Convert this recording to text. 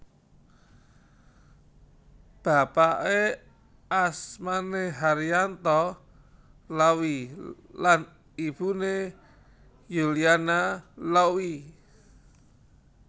Bapake asmane Haryanto Lauwy lan ibune Yuliana Lauwy